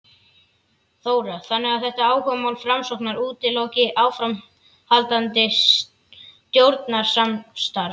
Þóra: Þannig að þetta áhugamál Framsóknar útiloki áframhaldandi stjórnarsamstarf?